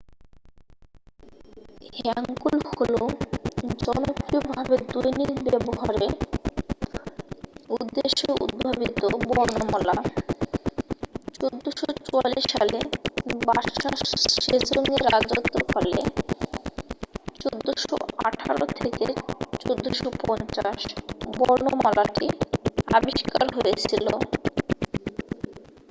হ্যাঙ্গুল হলো জনপ্রিয় ভাবে দৈনিক ব্যবহারে উদ্দেশ্যে উদ্ভাবিত বর্ণমালা। 1444 সালে বাদশা সেজংয়ের রাজত্বকালে 1418 - 1450 বর্ণমালাটি আবিষ্কার হয়েছিল।